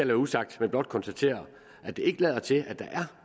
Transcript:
være usagt men blot konstatere at det ikke lader til at der er